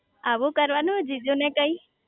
આવું કરવાનું જીજુ ને કઈ